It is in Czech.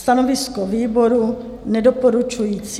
Stanovisko výboru nedoporučující.